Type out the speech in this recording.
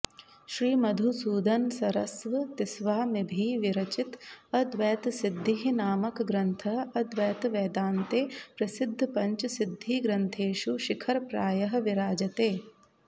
श्रीमधुसूदनसरस्वतिस्वामिभिः विरचित अद्वैतसिद्धिः नामकग्रन्थः अद्वैतवेदान्ते प्रसिद्धपञ्च सिद्धिग्रन्थेषु शिखरप्रायः विराजते